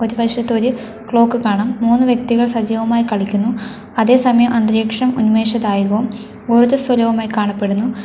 ഒരു വശത്ത് ഒരു ക്ലോക്ക് കാണാം മൂന്നു വ്യക്തികൾ സജീവമായി കളിക്കുന്നു അതേസമയം അന്തരീക്ഷം ഉന്മേഷധായകവും ഊർജ്ജസ്വലവുമായി കാണപ്പെടുന്നു.